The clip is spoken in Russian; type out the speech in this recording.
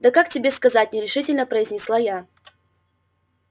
да как тебе сказать нерешительно произнесла я